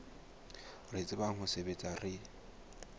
re tsebang ho sebetsa re